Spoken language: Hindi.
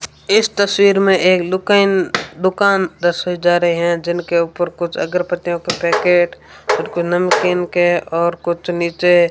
इस तस्वीर में एक दुकान दुकान दर्शाए जा रहे हैं जिनके ऊपर कुछ अगरबत्तियों के पैकेट और कोई नमकीन के और कुछ नीचे --